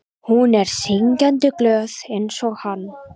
Hún er syngjandi glöð einsog hann.